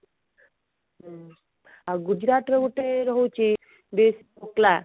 ଆଉ ଗୁଜୁରାଟ ର ଗୋଟେ ରହୁଛି dish ଢୋକଲା